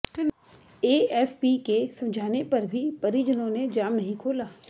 ASP के समझाने पर भी परिजनों ने जाम नहीं खोला